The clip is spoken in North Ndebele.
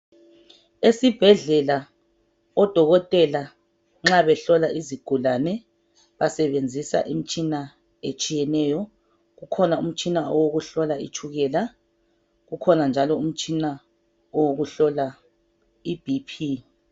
Esibhedlela odokotela nxa behlola izigulane basebenzisa imtshina etshiyeneyo . Kukhona umtshina wokuhlola itshukela .Kukhona njalo owokuhlola iBP.